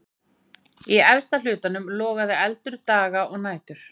Í efsta hlutanum logaði eldur daga og nætur.